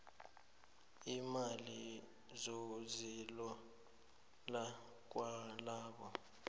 iimali zokuzilola kwalabo